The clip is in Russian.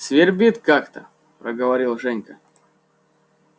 свербит как-то проговорил женька